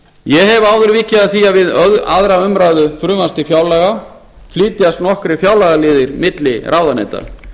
ég hef áður vikið að því að við aðra umræðu frumvarps til fjárlaga flytjast nokkrir fjárlagaliðir milli ráðuneyta